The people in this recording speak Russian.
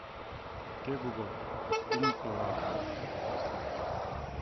окей гугл фильм пила